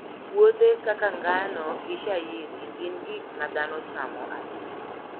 Puothe kaka ngano gi shayiri gin gik ma dhano chamo ahinya.